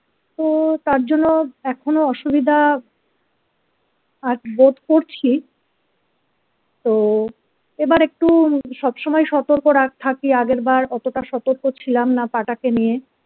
তো তার জন্য এখনো অসুবিধা আ বোধ করছি তো এবার একটু সবসময় সতর্ক রা থাকি আগের বার অতা সতর্ক ছিলাম না পা টা কে নিয়ে।